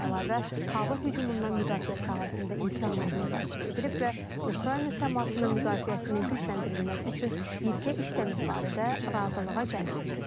Bundan əlavə hava hücumundan müdafiə sahəsində imkanlar müzakirə edilib və Ukrayna səmasının müdafiəsinin gücləndirilməsi üçün birgə işləmək barədə razılığa gəlinib.